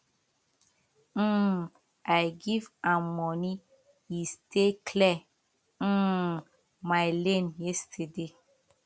um i give am money e stay clear um my lane yesterday